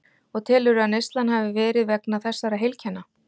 Og telurðu að neyslan hafi verið vegna þessara heilkenna?